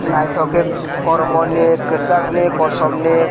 naitok ke kormo ni kesak ni kosom ni.